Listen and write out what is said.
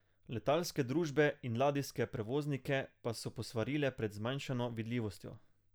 Letalske družbe in ladijske prevoznike pa so posvarile pred zmanjšano vidljivostjo.